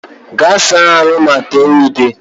Gaa saa ahụ ma tee ude!